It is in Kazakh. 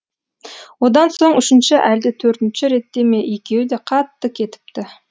одан соң үшінші әлде төртінші ретте ме екеуі де қатты кетіпті